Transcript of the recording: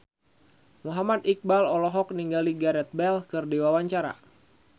Muhammad Iqbal olohok ningali Gareth Bale keur diwawancara